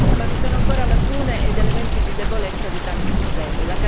Ma vi sono ancora lacune ed elementi di debolezza di tali sistemi.